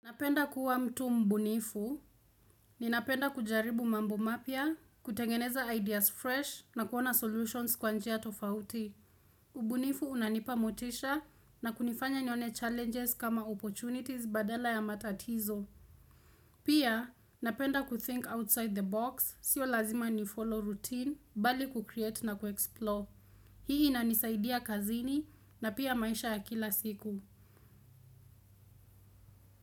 Napenda kuwa mtu mbunifu, ninapenda kujaribu mambo mapya, kutengeneza ideas fresh na kuona solutions kwa njia tofauti. Ubunifu unanipa motisha na kunifanya nione challenges kama opportunities badala ya matatizo. Pia, napenda ku-think outside the box, si lazima nifollow routine, bali ku-create na ku-explore. Hii inanisaidia kazini na pia maisha ya kila siku.